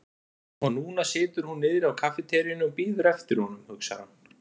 Og núna situr hún niðri á kaffiteríunni og bíður eftir honum, hugsar hann.